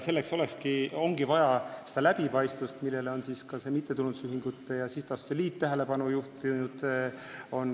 Selleks ongi vaja läbipaistvust, millele on ka mittetulundusühingute ja sihtasutuste liit tähelepanu juhtinud.